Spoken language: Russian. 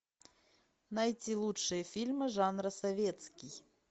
найти лучшие фильмы жанра советский